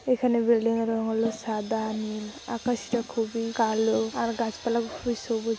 এখানে বিল্ডিং -এর রং হলো সাদা নীল আকাশটা খুবই কালো আর গাছপালা গুলি খুবই সবুজ।